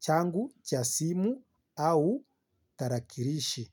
changu cha simu au tarakirishi.